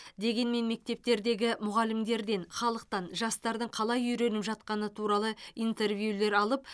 дегенмен мектептердегі мұғалімдерден халықтан жастардың қалай үйреніп жатқаны туралы интервьюлер алып